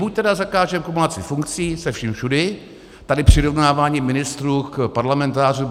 Buď tedy zakážeme kumulaci funkcí se vším všudy - tady přirovnávání ministrů k parlamentářům...